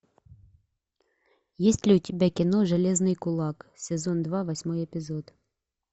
есть ли у тебя кино железный кулак сезон два восьмой эпизод